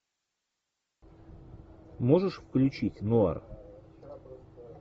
можешь включить нуар